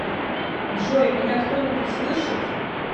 джой меня кто нибудь слышит